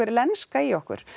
lenska í okkur